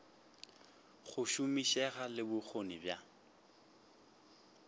go šomišega le bokgoni bja